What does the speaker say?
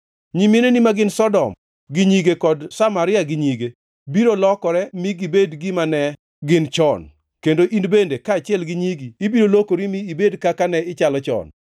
Nyimineni ma gin Sodom gi nyige kod Samaria gi nyige, biro lokore mi gibed gima ne gin chon; kendo in bende, kaachiel gi nyigi ibiro lokori mi ibed kaka ne ichalo chon.